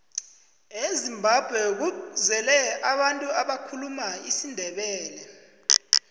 ezimbabwe kuzele abantu abakhuluma isindebele